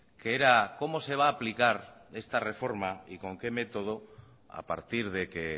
que era cómo se va aplicar esta reforma y con qué método a partir de que